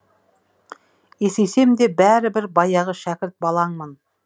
есейсем де бәрі бір баяғы шәкірт балаңмын